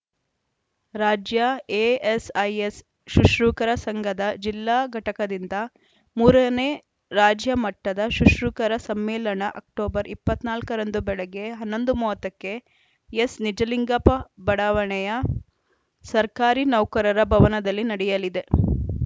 ರಾಜ್ಯ ಎಎಸ್‌ಐಎಸ್‌ ಶುಶ್ರೂಷಕರ ಸಂಘದ ಜಿಲ್ಲಾ ಘಟಕದಿಂದ ಮೂರ ನೇ ರಾಜ್ಯ ಮಟ್ಟದ ಶುಶ್ರೂಷಕರ ಸಮ್ಮೇಳನ ಅಕ್ಟೋಬರ್ ಇಪ್ಪತ್ತ್ ನಾಲ್ಕ ರಂದು ಬೆಳಗ್ಗೆ ಹನ್ನೊಂದು ಮೂವತ್ತ ಕ್ಕೆ ಎಸ್‌ನಿಜಲಿಂಗಪ್ಪ ಬಡಾವಣೆಯ ಸರ್ಕಾರಿ ನೌಕರರ ಭವನದಲ್ಲಿ ನಡೆಯಲಿದೆ